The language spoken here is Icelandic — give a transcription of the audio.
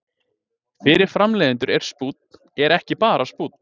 Fyrir framleiðendur er spúnn er ekki bara spúnn.